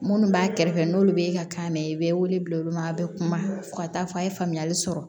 Minnu b'a kɛrɛfɛ n'olu bɛ ka kan mɛ i bɛ wele bila olu ma a bɛ kuma fo ka taa fɔ a ye faamuyali sɔrɔ